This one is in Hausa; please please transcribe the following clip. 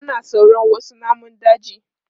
Ana tsoron wasu namun daji.